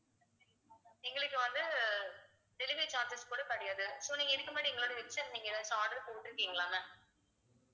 எங்களுக்கு வந்து delivery charges கூட கிடையாது so நீங்க இதுக்கு முன்னாடி எங்களோட website ல நீங்க எதாச்சும் order போட்டுருக்கீங்களா ma'am